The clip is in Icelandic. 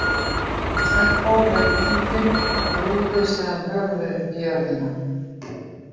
Stenko leit í kíkinn og grúfði síðan höfuðið í jörðina.